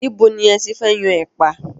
Ibo ni ẹ ti fẹ́ yan ẹ̀pà?